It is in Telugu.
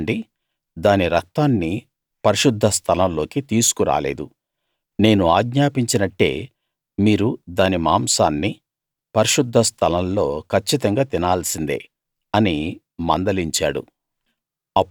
చూడండి దాని రక్తాన్ని పరిశుద్ధ స్థలం లోకి తీసుకు రాలేదు నేను ఆజ్ఞాపించినట్టే మీరు దాని మాంసాన్ని పరిశుద్ధ స్థలం లో కచ్చితంగా తినాల్సిందే అని మందలించాడు